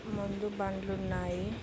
ముందు బండ్లున్నాయి.